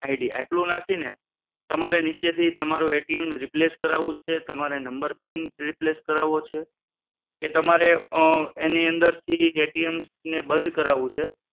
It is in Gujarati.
ID આટલું નાખીને તમારે નીચેથી તમારું replace કરાવવું છે, તમારે નંબર પિન replace કરાવવો છે કે તમારે અ એની અંદરથી ને બંધ કરાવવું છે